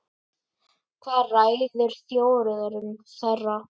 Hvað ræður þjóðerni þeirra?